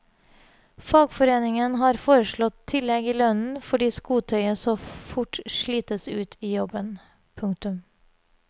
Fagforeningen har foreslått tillegg i lønnen fordi skotøyet så fort slites ut i jobben. punktum